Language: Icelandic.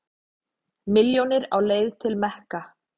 Milljónir á leið til Mekka